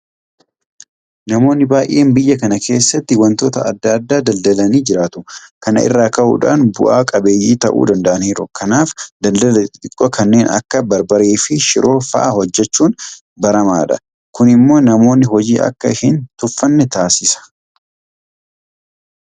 Namoonni baay'een biyya kana keessatti waantota adda addaa daldalanii jiraatu. Kana irraa ka'uudhaan bu'a qabeeyyii ta'uu danda'aniiru. Kanaaf daldala xixiqqoo kanneen akka barbareefi shiroo fa'aa hojjechuun baramaadha. Kun immoo namoonni hojii akka hin tuffanne taasisa.